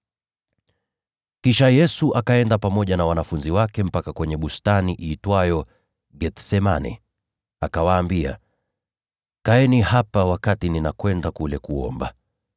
Kisha Yesu akaenda pamoja na wanafunzi wake mpaka kwenye bustani iitwayo Gethsemane, akawaambia, “Kaeni hapa, nami niende kule nikaombe.”